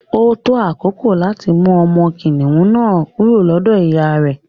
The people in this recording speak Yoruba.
Ó tó àkókò láti mú ọmọ kìnìún na kúrò lọ́dọ̀ ìyá rè.